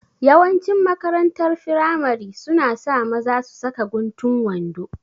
Yawanci makarantar firamare suna sa maza su saka guntun wando